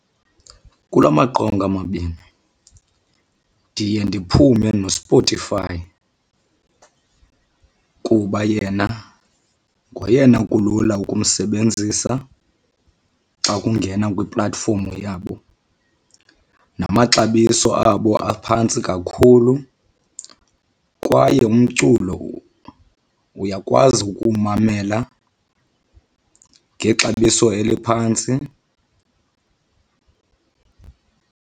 Kula maqonga mabini ndiye ndiphume noSpotify kuba yena ngoyena kulula ukumsebenzisa xa ungena kwi-platform yabo, namaxabiso abo aphantsi kakhulu kwaye umculo uyakwazi ukuwumamela ngexabiso eliphantsi.